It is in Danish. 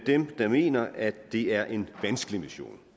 dem der mener at det er en vanskelig mission